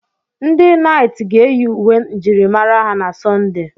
Ndị naịt ga-eyi uwe njirimara ha na Sunday.